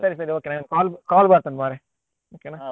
ಸರಿ ಸರಿ okay ನಂಗ್ call call ಬರ್ತಾ ಉಂಟು ಮಾರ್ರೆ okay ನಾ.